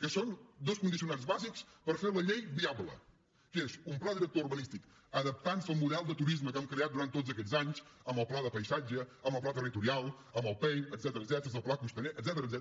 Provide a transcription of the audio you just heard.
que són dos condicionants bàsics per fer la llei viable que és un pla director urbanístic adaptant se al model de turisme que hem creat durant tots aquests anys amb el pla de paisatge amb el pla territorial amb el pein etcètera amb el pla costaner etcètera